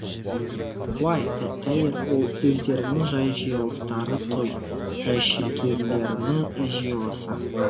уай тәйір ол өздерінің жай жиылыстары той жашейкелерінің жиылысы